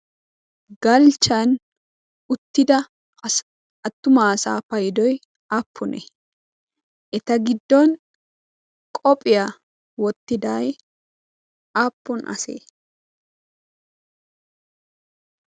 galchchan uttida attuma asaa paidoi aappune? eta giddon qoophiyaa wottidai aappun asee?